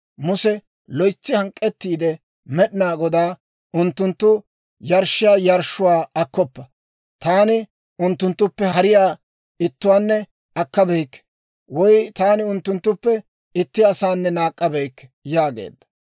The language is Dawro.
Muse loytsi hank'k'ettiide Med'inaa Godaa, «Unttunttu yarshshiyaa yarshshuwaa akkoppa; taani unttunttuppe hariyaa ittuwaanne akkabeyikke, woy taani unttunttuppe itti asanne naak'k'abeykke» yaageedda.